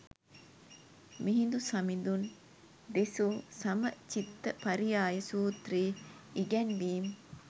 මිහිඳු සමිඳුන් දෙසු සමචිත්ත පරියාය සූත්‍රයේ ඉගැන්වීම්